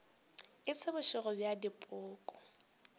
e se bošego bja dipoko